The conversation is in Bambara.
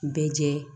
Bɛɛ jɛ